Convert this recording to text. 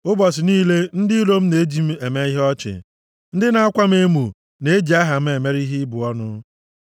Ụbọchị niile, ndị iro m na-eji m eme ihe ọchị; ndị na-akwa m emo na-eji aha m mere ihe ịbụ ọnụ.